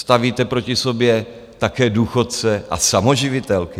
Stavíte proti sobě také důchodce a samoživitelky.